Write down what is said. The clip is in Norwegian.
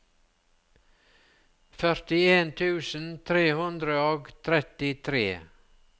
førtien tusen tre hundre og trettitre